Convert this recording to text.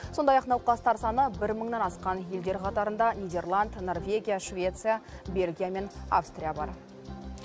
сондай ақ науқастар саны бір мыңнан асқан елдер қатарында нидерланд норвегия швеция бельгия мен австрия бар